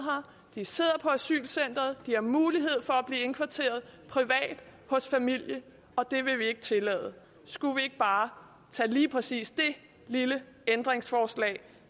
de sidder på asylcenteret de har mulighed for at blive indkvarteret privat hos familie og det vil vi ikke tillade skulle vi ikke bare tage lige præcis det lille ændringsforslag